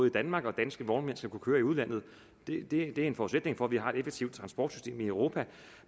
i danmark og danske vognmænd skal kunne køre i udlandet det er en forudsætning for at vi har et effektivt transportsystem i europa